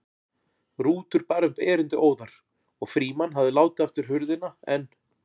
Rútur bar upp erindið óðar og Frímann hafði látið aftur hurðina en